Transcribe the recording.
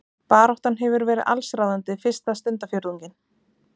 Baráttan hefur verið allsráðandi fyrsta stundarfjórðunginn